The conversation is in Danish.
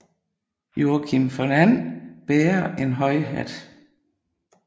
Joakim von And bærer en høj hat